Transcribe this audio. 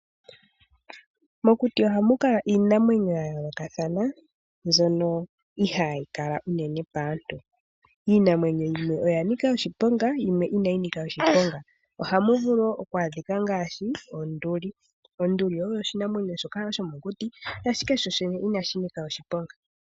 Mokuti ohamu kala iinamwenyo ya yoolokathana, mbyoka ihayi kala uunene paantu. Iinamwenyo yimwe oya nika oshiponga, yimwe inayi nika oshiponga, ohamu vulu oku adhika ngashi onduli. Onduli oyo oshinamwenyo shomokuti, ashike sho shene inashi nika oshi ponga.